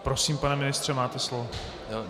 Prosím, pane ministře, máte slovo.